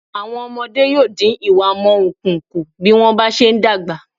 Àwọn ọmọde yóò dín ìwámọ̀unkun kù bí wọ́n bá se ń dàgbà.